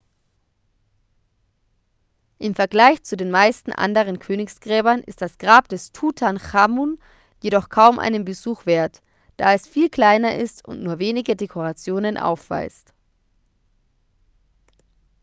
im vergleich zu den meisten anderen königsgräbern ist das grab des tutanchamun jedoch kaum einen besuch wert da es viel kleiner ist und nur wenige dekorationen aufweist